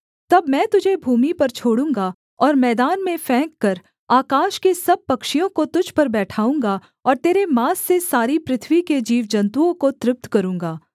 तब मैं तुझे भूमि पर छोड़ूँगा और मैदान में फेंककर आकाश के सब पक्षियों को तुझ पर बैठाऊँगा और तेरे माँस से सारी पृथ्वी के जीवजन्तुओं को तृप्त करूँगा